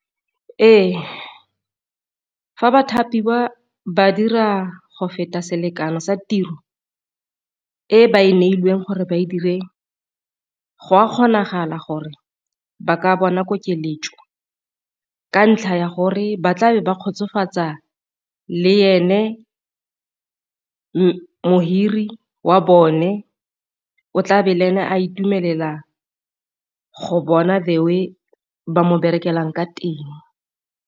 Ee, fa ba thapiwa ba dira go feta selekano sa tiro e ba e neilweng gore ba e dire gwa kgonagala gore ba ka bona ko keletso ka ntlha ya gore ba tlabe ba kgotsofatsa le ene mohiri wa bone o tla be le ene a itumelela go bona the way ba mo berekelang ka teng.